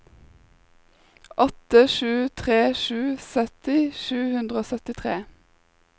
åtte sju tre sju sytti sju hundre og syttitre